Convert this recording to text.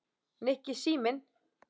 Nikki, síminn